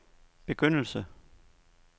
begyndelse